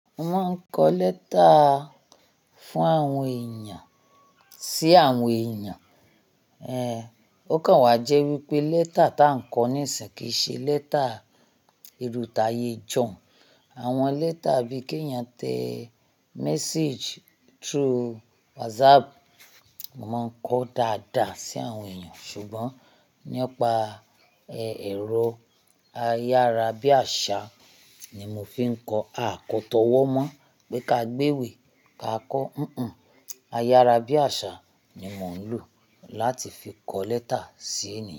Mo máa ń kọ lẹ́tà fún àwọn èèyàn sí àwọn èèyàn. Ẹh, ó kan wá jẹ́ wípé lẹ́tà ta ń kọ níìsìń kí í ṣe lẹ́tà ìrù t'àiyè ijọun. Àwọn lẹ́tà bí k'éèyàn yàn tẹ message through WhatsApp, mo má ń kọ dáadáa sí àwọn èèyàn. Ṣùgbọ́n nípa ẹ̀rọ ayárabíàṣá ni mo fi ń kọ. A kò tọ́wọ́ mọ̀ pé ká gbéwèé ká kọ. Hùn-ùn, ayárabíàṣá ni mò ń lò láti fi kọ lẹ́tà sí èèyàn.